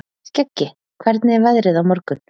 Skeggi, hvernig er veðrið á morgun?